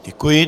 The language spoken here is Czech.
Děkuji.